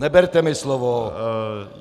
Neberte mi slovo.